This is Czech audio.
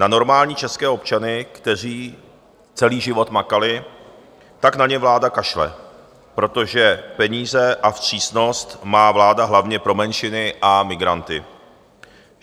Na normální české občany, kteří celý život makali, tak na ně vláda kašle, protože peníze a vstřícnost má vláda hlavně pro menšiny a migranty.